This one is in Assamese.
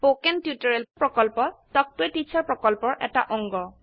স্পকেন টিউটৰিয়েল প্ৰকল্প তাল্ক ত a টিচাৰ প্ৰকল্পৰ এটা অংগ